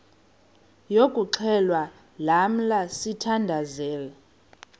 yokuxhelwa lamla sithandazel